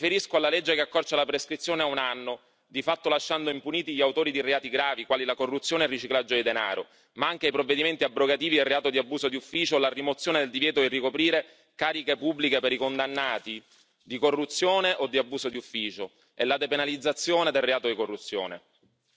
Mi riferisco alla legge che accorcia la prescrizione a un anno, di fatto lasciando impuniti gli autori di reati gravi, quali corruzione e riciclaggio di denaro, ma anche i provvedimenti abrogativi e reato di abuso di ufficio, fino alla rimozione del divieto di ricoprire cariche pubbliche per i condannati di corruzione o di abuso di ufficio e la depenalizzazione del reato di corruzione.